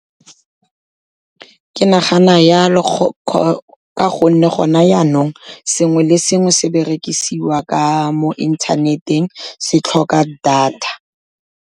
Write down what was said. Ke nagana jalo, ka gonne gone janong sengwe le sengwe se berekisiwa ka mo inthaneteng, se tlhoka data.